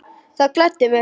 Það gladdi mig.